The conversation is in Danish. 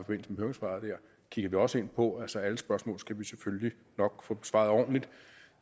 med høringssvaret kigger vi også på altså alle spørgsmål skal vi selvfølgelig nok få besvaret ordentligt